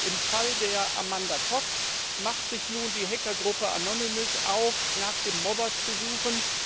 Im Fall von Amanda Todd macht sich nun die Hackergruppe Anonymous auf, nach dem Mobber zu suchen.